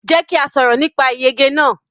Jẹ́ kí a sọ̀rọ̀ nípa ìyege náà.